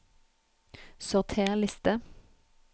Sorter liste